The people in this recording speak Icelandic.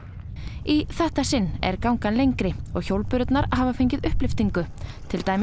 í þetta sinn er gangan lengri og hjólbörurnar hafa fengið upplyftingu til dæmis